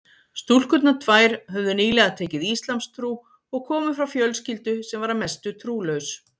Stúlkurnar tvær höfðu nýlega tekið íslamstrú og komu frá fjölskyldu sem var að mestu trúlaus.